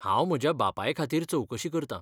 हांव म्हज्या बापाय खातीर चवकशी करता.